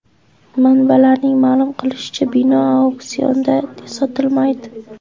Manbalarning ma’lum qilishicha, bino auksionda sotilmaydi.